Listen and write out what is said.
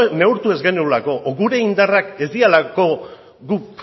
neurtu ez genuelako gure indarrak ez direlako guk